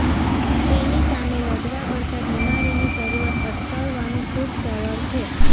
તેની સામે લડવા કરતાં બીમારીની શરૂઆત અટકાવવાનું ખૂબ સરળ છે